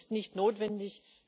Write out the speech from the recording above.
Das ist nicht notwendig.